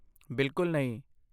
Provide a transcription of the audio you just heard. ਬਿਲਕੁਲ ਨਹੀਂ!